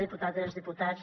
diputades diputats